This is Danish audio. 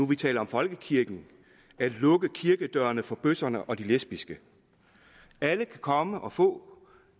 vi taler om folkekirken at lukke kirkedørene for bøsserne og de lesbiske alle kan komme og få